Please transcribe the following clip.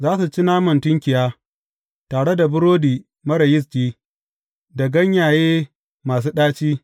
Za su ci naman tunkiya, tare da burodi marar yisti, da ganyaye masu ɗaci.